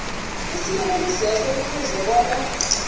isiyelelisweso kufuze bona